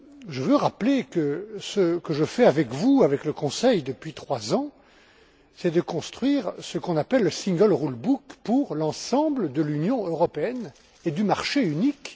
Je veux rappeler que ce que je fais avec vous, avec le Conseil, depuis trois ans, c'est de construire le single rule book pour l'ensemble de l'Union européenne et du marché unique.